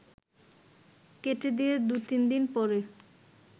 কেটে দিয়ে দু’তিন দিন পরে